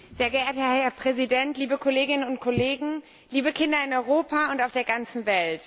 Herr Präsident, liebe Kolleginnen und Kollegen, liebe Kinder in Europa und auf der ganzen Welt!